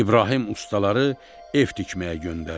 İbrahim ustaları ev tikməyə göndərdi.